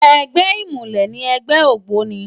Ègbè imúlè ni ègbè ógbóni